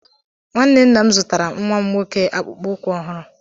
Nwanne nna m zụtara nwa m nwoke akpụkpọ ụkwụ ọhụrụ